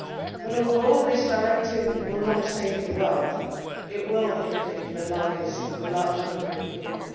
But although this directive will not save the world, it will improve the lives of a large number of people.